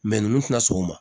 nunnu tina sɔn